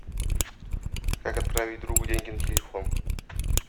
как отправить другу деньги на телефон